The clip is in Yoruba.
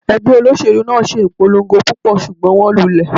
Ẹgbẹ́ olóṣèlú náà ṣe ìpolongo púpọ̀, ṣùgbọ́n wón lulẹ̀.